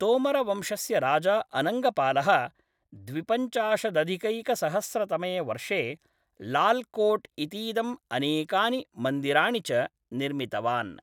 तोमरवंशस्य राजा अनङ्गपालः द्विपञ्चाशदधिकैकसहस्रतमे वर्षे लाल् कोट् इतीदम् अनेकानि मन्दिराणि च निर्मितवान्।